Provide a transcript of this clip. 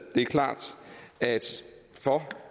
det er klart at